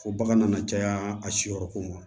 Ko bagan nana caya a si yɔrɔ ko ma